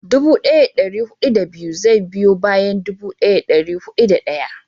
dubu daya da dari hudu da biyu zai biyo bayan dubu daya da dari hudu da daya